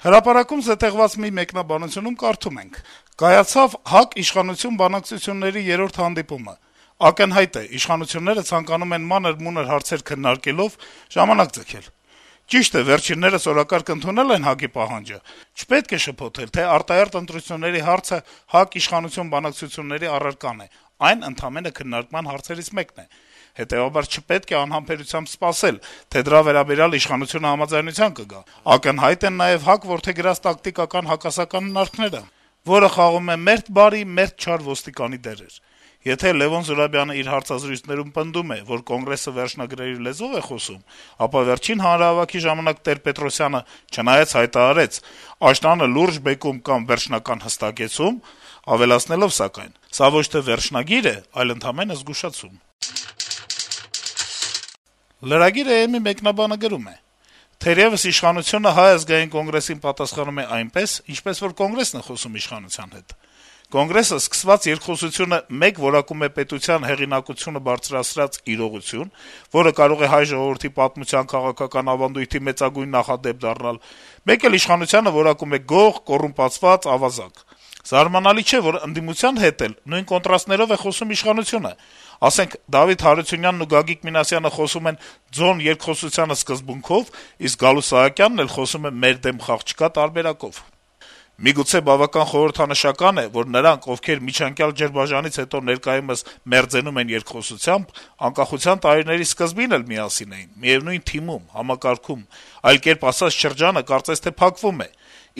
«Հրապարակ»-ում զետեղված մի մեկնաբանությունում կարդում ենք. - «Կայացավ ՀԱԿ-իշխանություն բանակցությունների երրորդ հանդիպումը, ակնհայտ է` իշխանությունները ցանկանում են մանր-մունր հարցեր քննարկելով ժամանակ ձգել: Ճիշտ է` վերջիններս օրակարգ ընդունել են ՀԱԿ-ի պահանջը, չպետք է շփոթել, թե արտահերթ ընտրությունների հարցը ՀԱԿ-իշխանություն բանակցությունների առարկան է, այն ընդամենը քննարկման հարցերից մեկն է: Հետեւաբար չպետք է անհամբերությամբ սպասել, թե դրա վերաբերյալ իշխանությունը համաձայնության կգա: Ակնհայտ են նաեւ Կոնգրեսի որդեգրած տակտիկական հակասական հնարքները, որը խաղում է մերթ բարի, մերթ չար ոստիկանի դերեր: Եթե Լեւոն Զուրաբյանը իր հարցազրույցներում պնդում է, որ Կոնգրեսը վերջնագրերի լեզվով է խոսում, ապա վերջին հանրահավաքի ժամանակ Տեր-Պետրոսյանը չնայած հայտարարեց` աշնանը «լուրջ բեկում կամ վերջնական հստակեցում», ավելացնելով սակայն. «Սա ոչ թե վերջնագիր է, այլ ընդամենը զգուշացում»»: Lragir.am-ի մեկնաբանը գրում է. - «Թերեւս իշխանությունը Հայ ազգային կոնգրեսին պատասխանում է այնպես, ինչպես որ Կոնգրեսն է խոսում իշխանության հետ: Կոնգրեսը սկսված երկխոսությունը մեկ որակում է պետության հեղինակությունը բարձրացրած իրողություն, որը կարող է հայ ժողովրդի պատմության քաղաքական ավանդույթի մեծագույն նախադեպ դառնալ, մեկ էլ իշխանությանը որակում է գող, կոռումպացված, ավազակ: Զարմանալիչէ, որ ընդդիմության հետ էլ նույն կոնտրաստներով խոսում է իշխանությունը: Ասենք, Դավիթ Հարությունյանն ու Գագիկ Մինասյանը խոսում են «ձոն երկխոսությանը» սկզբունքով, իսկ Գալուստ Սահակյանն էլ խոսում է «մեր դեմ խաղ չկա» տարբերակով: Միգուցե բավական խորհրդանշական է նաեւ, որ նրանք, ովքեր միջանկյալ ջրբաժանից հետո ներկայում մերձենում են երկխոսությամբ, անկախության տարիների սկզբին էլ միասին էին, միեւնույն թիմում, համակարգում: Այլ կերպ ասած, շրջանը կարծես թե փակվում է: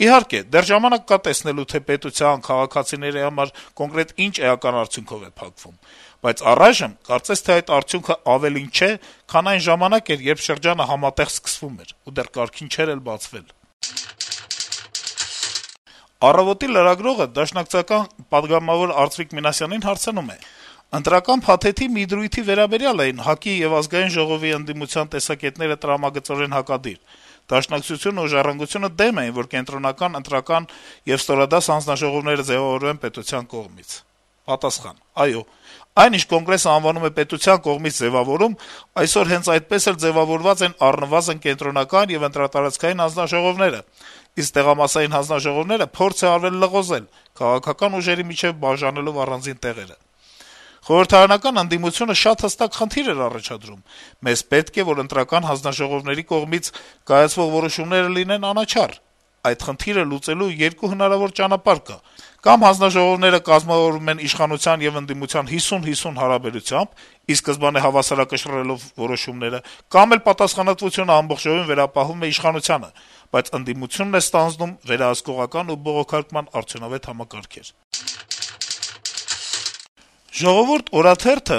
Իհարկե, դեռ կա ժամանակ տեսնելու, թե պետության, քաղաքացիների համար կոնկրետ ինչ էական արդյունքով է փակվում: Բայց առայժմ, կարծես թե այդ արդյունքն ավելին չէ, քան այն ժամանակ էր, երբ շրջանը համատեղ սկսվում էր ու դեռ կարգին չէր բացվել»: «Առավոտ»-ի լրագրողը պատգամավոր Արծվիկ Մինասյանին (ՀՅԴ) հարցնում է. - «Ընտրական փաթեթի մի դրույթի վերաբերյալ էին ՀԱԿ-ի եւ ԱԺ ընդդիմության տեսակետները տրամագծորեն հակադիր: Դաշնակցությունը եւ «Ժառանգություն»-ը դեմ էին, որ կենտրոնական ընտրական եւ ստորադաս հանձնաժողովները ձեւավորման պետության կողմից»: Պատասխան. - «Այն, ինչ Կոնգրեսը անվանում է «պետության կողմից ձեւավորում», այսօր հենց այդպես էլ ձեւավորված են առնվազն կենտրոնական եւ ընտրատարածքային հանձնաժողովները, իսկ տեղամասային հանձնաժողովները փորձ է արվել լղոզել` քաղաքական ուժերի միջեւ բաժանելով առանձին տեղերը: Խորհրդարանական ընդդիմությունը շատ հստակ խնդիր էր առաջադրում` մեզ պետք է, որ ընտրական հանձնաժողովների կողմից կայացվող որոշումները լինեն անաչառ: Այդ խնդիրը լուծելու երկու հնարավոր ճանապարհ կա` կա'մ հանձնաժողովները կազմավորվում են իշխանության եւ ընդդիմության 50/50 հարաբերությամբ` ի սկզբանե հավասարակշռելով որոշումները, կա'մ էլ պատասխանատվությունը ամբողջովին վերապահվում է իշխանությանը, բայց ընդդիմությունն է ստանձնում վերահսկողական ու բողոքարկման արդյունավետ համակարգեր»: «Ժողովուրդ» օրաթերթը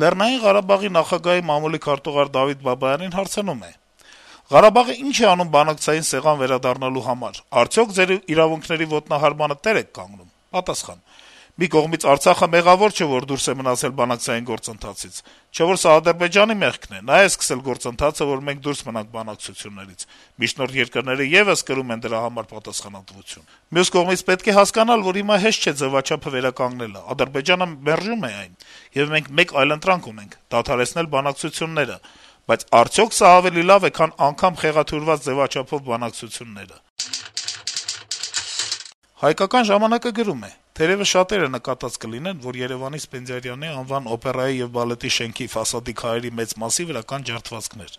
Լեռնային Ղարաբաղի նախագահի մամուլի քարտուղար Դավիթ Բաբայանին հարցնում է. - «Ղարաբաղը ի՞նչ է անում բանակցային սեղան վերադառնալու համար: Արդյո՞ք ձեր իրավունքների ոտնահարմանը տեր եք կանգնում»: Պատասխան. - «Մի կողմից Արցախը մեղավոր չէ, որ դուրս է մնացել բանակցային գործընթացից: Չէ՞ որ սա Ադրբեջանի մեղքն է. նա է սկսել գործընթացը, որ մենք դուրս ենք մնացել բանակցություններից: Միջնորդ երկրները եւս կրում են դրա համար պատասխանատվություն: Մյուս կողմից պետք է հասկանալ, որ հիմա հեշտ չէ ձեւաչափը վերականգնելը: Ադրբեջանը մերժում է այն: Եվ մենք մեկ այլընտրանք ունենք` դադարեցնել բանակցությունները: Բայդ արդյո՞ք սա ավելի լավ է, քան անգամ խեղաթյուրված ձեւաչափով բանակցությունները»: «Հայկական ժամանակ»-ը գրում է. - «Թերեւս շատերը նկատած կլինեն, որ Երեւանի Սպենդիարյանի անվան օպերայի եւ բալետի շենքի ֆասադի քարերի մեծ մասի վրա կան ջարդվածքներ: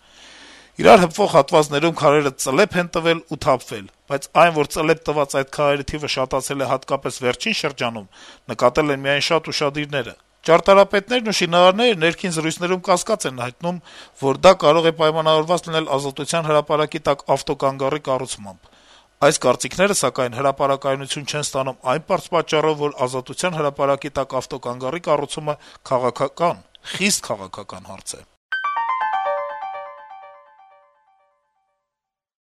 Իրար հպվող հատվածներում քարերը «ծլեպ են տվել» ու թափվել: Բայց այն, որ «ծլեպ տված» այդ քարերի թիվը շատացել է հատկապես վերջին շրջանում, նկատել են միայն շատ ուշադիրները: Ճարտարապետներն ու շինարարները ներքին զրույցներում կասկած են հայտնում, որ դա կարող է պայմանավորված լինել Ազատության հրապարակի տակ ավտոկանգառի կառուցմամբ: Այս կարծիքները, սակայն, հրապարակայնություն չեն ստանում այն պատճառով, որ Ազատության հրապարակի տակ ավտոկանգառի կառուցումը քաղաքական, խիստ քաղաքական հարց է»: